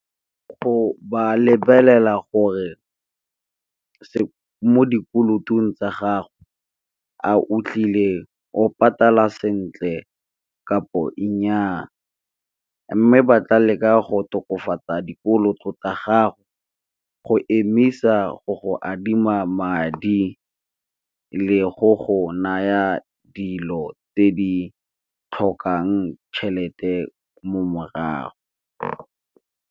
Go ba lebelela gore mo dikolotong tsa gago a utlwile o patala sentle kapo e nnyaa, mme ba tla leka go tokafatsa dikoloto tsa gago go emisa go go adima madi le go go naya dilo tse di tlhokang tšhelete mo morago.